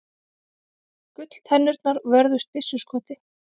Gulltennurnar vörðust byssuskoti